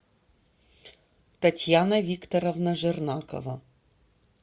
татьяна викторовна жернакова